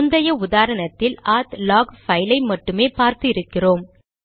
முந்தைய உதாரணத்தில் நாம் ஆத் லாக் பைல் ஐ மட்டுமே பார்த்து இருக்கிறோம்